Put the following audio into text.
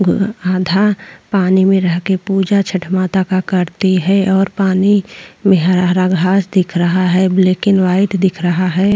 आधा पानी में रहके पूजा छठ माता का करती है और पानी में हरा हरा घास दिख रहा है ब्लैक अण्ड वाइट दिख रहा है।